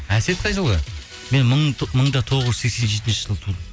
әсет қай жылғы мен мың да тоғыз жүз сексен жетінші жылы туылдым